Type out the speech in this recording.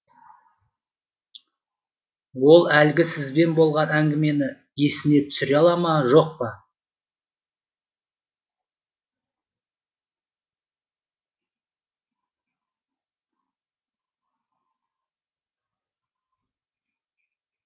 ол әлгі сізбен болған әңгімені есіне түсіре ала ма жоқ па